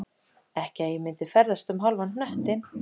Ekki að ég myndi ferðast um hálfan hnöttinn